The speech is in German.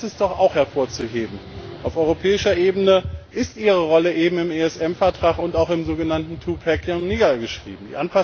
Aber eines ist doch auch hervorzuheben Auf europäischer Ebene ist ihre Rolle im ESM Vertrag und auch im sogenannten two pack niedergeschrieben.